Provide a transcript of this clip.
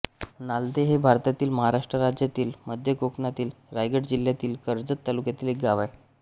नालधे हे भारतातील महाराष्ट्र राज्यातील मध्य कोकणातील रायगड जिल्ह्यातील कर्जत तालुक्यातील एक गाव आहे